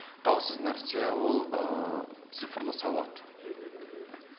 даусыз нәрсе ол ыыы цифрлы сауат мхм мхм